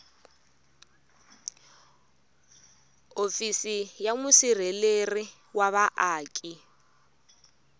hofisi ya musirheleri wa vaaki